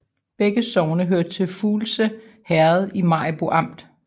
Begge sogne hørte til Fuglse Herred i Maribo Amt